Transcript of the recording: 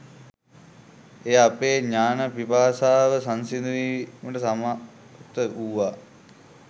එය අපේ ඥාන පිපාසාව සංසිඳුවීමට සමර්ථ වුවා